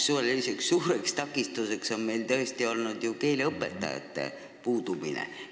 Keeleõppe korraldamisel on meil ju üks suur takistus olnud keeleõpetajate puudumine.